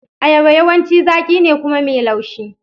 Ayaba yawanci zaƙi ne kuma mai laushi.